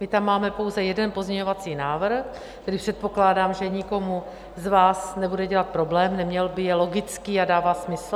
My tam máme pouze jeden pozměňovací návrh, který předpokládám, že nikomu z vás nebude dělat problém, neměl by - je logický a dává smysl.